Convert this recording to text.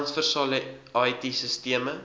transversale it sisteme